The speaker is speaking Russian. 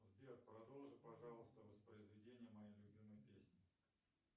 сбер продолжи пожалуйста воспроизведение моей любимой песни